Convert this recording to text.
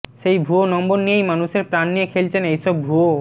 সেই ভুয়ো নম্বর নিয়েই মানুষের প্রান নিয়ে খেলছেন এইসব ভুয়ো